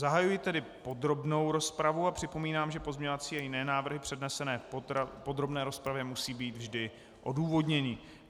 Zahajuji tedy podrobnou rozpravu a připomínám, že pozměňovací a jiné návrhy přednesené v podrobné rozpravě musí být vždy odůvodněny.